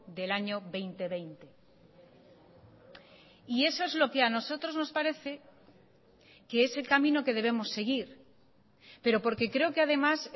del año dos mil veinte y eso es lo que a nosotros nos parece que es el camino que debemos seguir pero porque creo que además